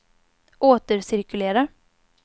återcirkulera